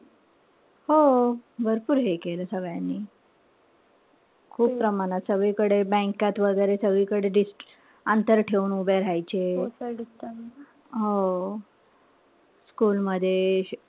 हो. भरपूर हे केलं सगळ्यांनी. खूप प्रमाणात सगळीकडे. Bank त वगैरे सगळीकडे अंतर ठेवून उभं राहायचे. हो. school मध्ये,